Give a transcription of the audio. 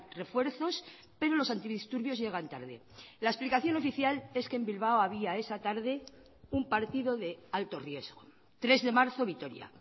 refuerzos pero los antidisturbios llegan tarde la explicación oficial es que en bilbao había esa tarde un partido de alto riesgo tres de marzo vitoria